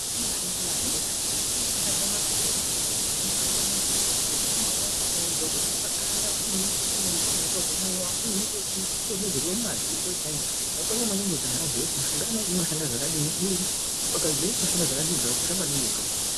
Kune mishonga yemazuvano yakasiyana-siyana ingange maphilizi, ingange mishonga imweni inoite yekudzorwe mumaoko, kudzorwe paganda, imweni inodonhedzerwe mumadziso chaimwo. Zvakakosha maningi kuti anhu azive kuti mishonga inoyi inoshande zvakadini, ukaziya kuti unoshanda zvakadini zvakakosha maningi izvozvo.